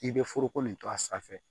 I bɛ foroko nin to a sanfɛ